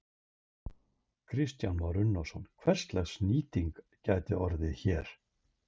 Kristján Már Unnarsson: Hverslags nýting gæti orðið hér?